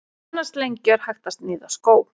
Af annars lengju er hægt að sníða skó.